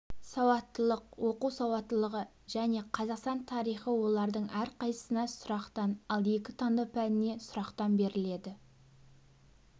сауаттылық оқу сауаттылығы және қазақстан тарихы олардың әрқайсысына сұрақтан ал екі таңдау пәніне сұрақтан беріледі